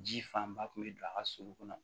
Ji fanba kun bɛ don a ka sulu kɔnɔ